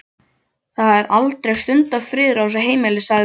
Það er aldrei stundarfriður á þessu heimili sagði